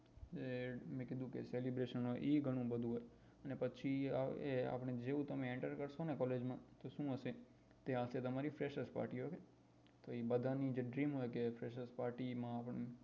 એ મેં કીધું કે celebration હોય એ ગણું બધું હોય ને પછી એ આપને જેવું તમે enter કરશો ને collage તો શું હશે તો ત્યાં હશે તમારી freshers party તો એ બધા નું જે dream હોય કે freshers party માં આપડે